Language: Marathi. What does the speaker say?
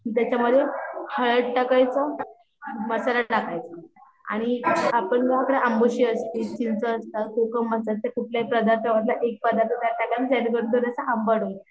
त्याच्या मध्ये हळद टाकायचं, मसाला टाकायचं आणि अंबोशी असती, चिंच असता, कोकम कुठल्याही पदर्थापैकी एक टाकायचा